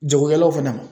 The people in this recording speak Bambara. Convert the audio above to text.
Jagokɛlaw fana